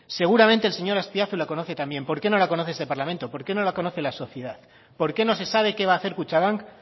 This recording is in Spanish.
seguramente el señor azpiazu la conoce también por qué no la conoce este parlamento por qué no la conoce la sociedad por qué no se sabe qué va a hacer kutxabank